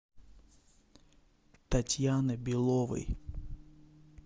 татьяны беловой